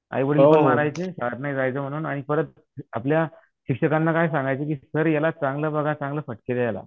आईवडील मारायचे शाळेत नाही जायचं म्हणून आणि परत आपल्या शिक्षकांना काय सांगायचं की सर याला चांगलं बघा, चांगले फटके द्या याला.